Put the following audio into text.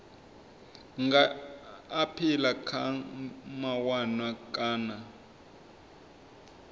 nga aphila kha mawanwa kana